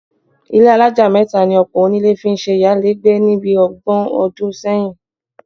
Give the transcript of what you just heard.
Ilé alájà mẹ́ta ni ọ̀pọ̀ onílé fi ń ṣe ìyálégbé ni bí ọgbọ̀n ọdún sẹ́yìn